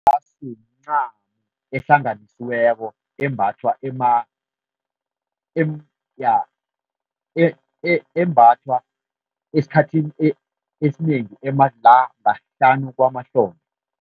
Irasu mncamo ehlanganisiweko embathwa embathwa esikhathini esinengi la hlanu kwamahlombe.